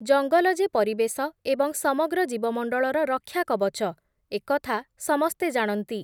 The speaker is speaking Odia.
ଜଙ୍ଗଲ ଯେ ପରିବେଶ ଏବଂ ସମଗ୍ର ଜୀବମଣ୍ଡଳର ରକ୍ଷା କବଚ, ଏକଥା ସମସ୍ତେ ଜାଣନ୍ତି ।